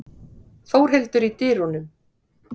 Þórhildur í dyrunum.